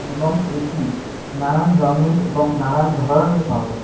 এবং এটি নানান রঙের এবং নানান ধরনের পাওয়া যায়।